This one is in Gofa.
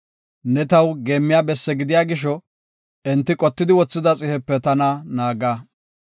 Ne taw geemmiya besse gidiya gisho, enti qotidi wothida xihepe tana naaga.